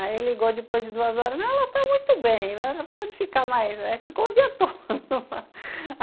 Aí ligou depois de duas horas, ela está muito bem, né, pode ficar mais, ficou o dia todo.